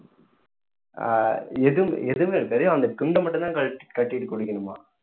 ஆஹ் எதுவுமே எதுவுமே வெறும் அந்த துண்ட மட்டும் தான் கழ~ கட்டிட்டு குளிக்கணுமாம்